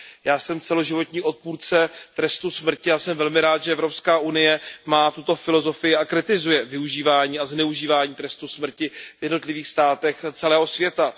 Já jsem celoživotní odpůrce trestu smrti a jsem velmi rád, že EU má tuto filozofii a kritizuje využívání a zneužívání trestu smrti v jednotlivých státech celého světa.